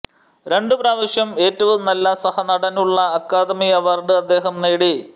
രണ്ട് പ്രാവശ്യം ഏറ്റവും നല്ല സഹനടനുള്ള അക്കാദമി അവാർഡ് അദ്ദേഹം നേടി